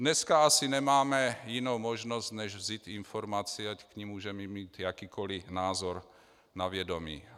Dneska asi nemáme jinou možnost, než vzít informaci, ať k ní můžeme mít jakýkoli názor, na vědomí.